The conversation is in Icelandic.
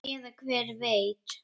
Eða hver veit?